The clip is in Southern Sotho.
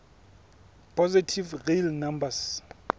positive real numbers